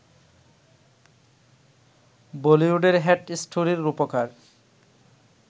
বলিউডের ‘হেট স্টোরি’র রুপকার